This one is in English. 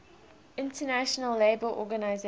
international labour organization